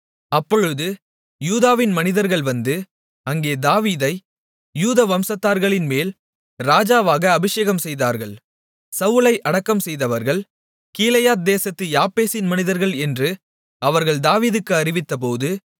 அப்பொழுது யூதாவின் மனிதர்கள் வந்து அங்கே தாவீதை யூதா வம்சத்தார்களின்மேல் ராஜாவாக அபிஷேகம்செய்தார்கள் சவுலை அடக்கம்செய்தவர்கள் கீலேயாத்தேசத்து யாபேசின் மனிதர்கள் என்று அவர்கள் தாவீதுக்கு அறிவித்தபோது